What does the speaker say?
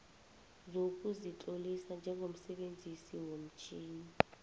sokuzitlolisa njengomsebenzisi womtjhini